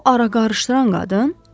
O ara qarışdıran qadın?